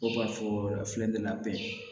Dɔw b'a fɔ a filɛ nin ye ka bɛn